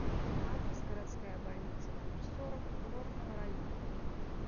адрес городская больница номер сорок курортного района